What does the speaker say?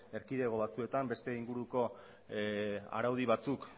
erkidego batzuetan beste inguruko araudi batzuk